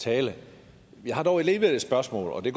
tale jeg har dog alligevel et spørgsmål og det